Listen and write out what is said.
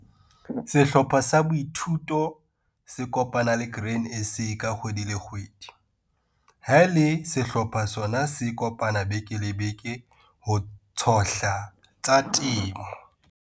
Sehlopha sa boithuto se kopana le Grain SA ka kgwedi le kgwedi. Ha e le sehlopha sona se kopana beke le beke ho tshohla tsa temo.